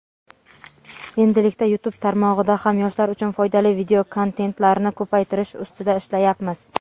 endilikda YouTube tarmog‘ida ham yoshlar uchun foydali videokontentlarni ko‘paytirish ustida ishlayapmiz.